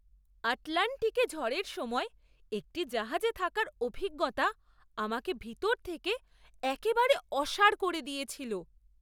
আটলান্টিকে ঝড়ের সময় একটি জাহাজে থাকার অভিজ্ঞতা আমাকে ভিতর থেকে একেবারে অসাড় করে দিয়েছিল!